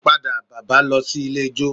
Padà bàbá lọ sí ilé ijó